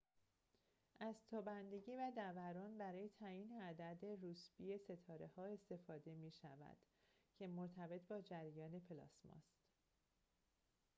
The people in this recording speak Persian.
از تابندگی و دَوران برای تعیین عدد روسبی ستاره استفاده می‌شود که مرتبط با جریان پلاسما است